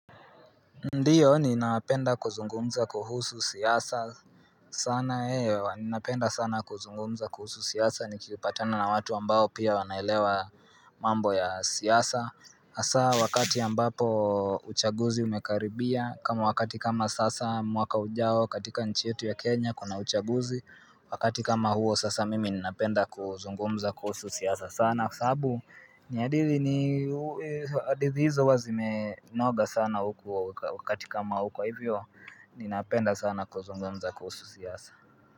Ndiyo ninapenda kuzungumza kuhusu siasa sana, ninapenda sana kuzungumza kuhusu siasa nikipatana na watu ambao pia wanaelewa mambo ya siasa Hasaa wakati ya ambapo uchaguzi umekaribia kama wakati kama sasa mwaka ujao katika nchi yetu ya Kenya kuna uchaguzi Wakati kama huo sasa mimi ninapenda kuzungumza kuhusu siasa sana kwa sababu, hadithi hizo huwa zimenoga sana huku wakati kama huu kwa hivyo, ninapenda sana kuzungumza kuhusu siasa.